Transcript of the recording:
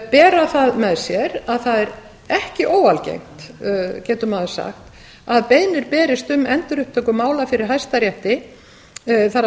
bera það með sér að að það er ekki óalgengt getur maður sagt að beiðnir berist um endurupptöku mála fyrir hæstarétti það